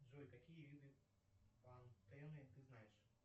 джой какие виды пантены ты знаешь